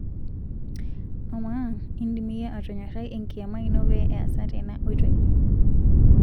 Ama indim iyie atonyorai enkiyama ino pee easa tena oitoi?